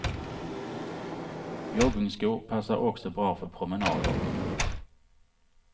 Joggingskor passar också bra för promenader.